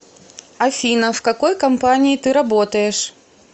афина в какой компании ты работаешь